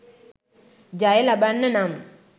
ජය ලබන්න නම්